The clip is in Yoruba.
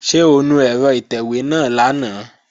Ṣé o nu ẹ̀rọ ìtẹ̀wé náà lánàá?